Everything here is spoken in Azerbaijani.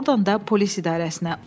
Ordan da polis idarəsinə.